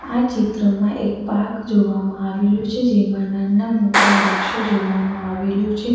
આ ચિત્રમાં એક પાર્ક જોવામાં આવેલું છે જેમાં નાના મોટા વૃક્ષો જોવામાં આવેલું છે.